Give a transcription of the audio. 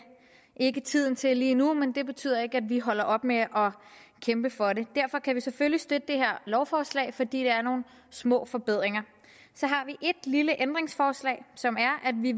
ikke er tiden til lige nu men det betyder ikke at vi holder op med at kæmpe for det derfor kan vi selvfølgelig støtte det her lovforslag fordi der er nogle små forbedringer så har vi et lille ændringsforslag som er at vi